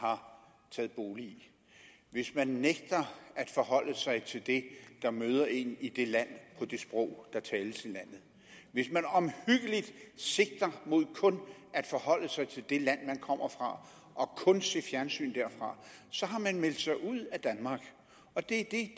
har taget bolig i hvis man nægter at forholde sig til det der møder en i det land på det sprog der tales i landet hvis man omhyggeligt sigter mod kun at forholde sig til det land man kommer fra og kun ser fjernsyn derfra så har man meldt sig ud af danmark og det er det